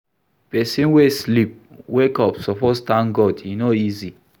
Pesin wey sleep, wake up suppose tank God, e no easy.